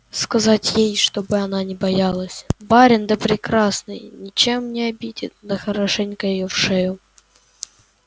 сказать ей чтобы она не боялась барин да прекрасный ничем не обидит да хорошенько её в шею